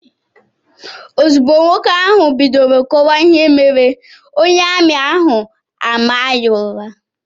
Ozugbo nwoke ahụ bidoro kọwaa ihe mere, onye ami ahụ a maa ya ụra.